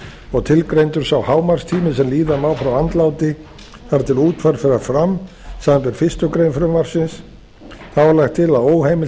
og tilgreindur sá hámarkstími sem líða má frá andláti þar til útför fer fram samanber fyrstu grein frumvarpsins þá er lagt til að óheimilt